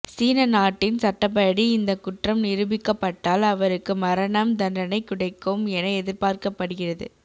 சீன நாட்டின் சட்டப்படி இந்த குற்றம் நிரூபிக்கப்பட்டால் அவருக்கு மரணம் தண்டனை கிடைக்கும் என எதிர்பார்க்கப்படுகிறது